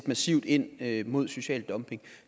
massivt ind imod social dumping